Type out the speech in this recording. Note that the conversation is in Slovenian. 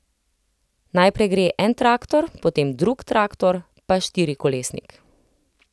Najprej gre en traktor, potem drug traktor, pa štirikolesnik.